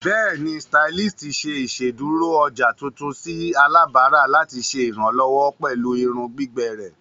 Bẹẹni, stylist ṣe iṣeduro ọja tuntun si alabara lati ṣe iranlọwọ pẹlu irun gbigbẹ rẹ.